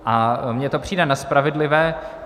A mně to přijde nespravedlivé.